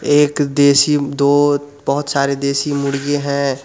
एक देसी दो बहुत सारे देसी मुर्गी है ।